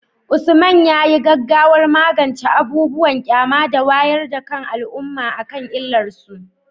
Usman, yayi gaggawar magance abubuwan ƙyama da wayar da kan al’umma akan illar su.